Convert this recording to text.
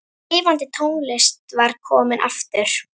Lifandi tónlist var komin aftur.